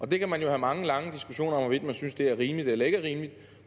det kan man jo have mange lange diskussioner om hvorvidt man synes er rimeligt eller ikke rimeligt